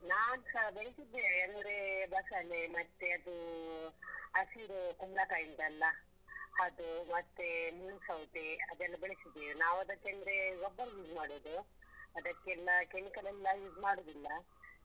ನಾನ್ಸ ಬೆಳ್ಸಿದ್ದೇವೆ ಅಂದ್ರೆ ಬಸಳೆ ಮತ್ತೆ ಅದು ಹಸಿರು ಕುಂಬ್ಳಕಾಯಿ ಉಂಟಲ್ಲ ಅದು ಮತ್ತೆ ಮುಳ್ಸೌತೆ ಅದೆಲ್ಲ ಬೆಳ್ಸಿದ್ದೇವೆ. ನಾವು ಅದಕ್ಕಂದ್ರೆ ಗೊಬ್ರ use ಮಾಡೋದು ಅದಕ್ಕೆಲ್ಲ chemical ಎಲ್ಲ use ಮಾಡುದಿಲ್ಲ.